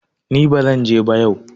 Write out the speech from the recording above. ni ba zan je ba yau!